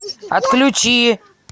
отключи